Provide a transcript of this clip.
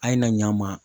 A ye na ɲa ma